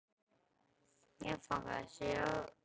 Þessi reynsla gerir hann þó ekki mælskan.